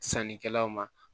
Sannikɛlaw ma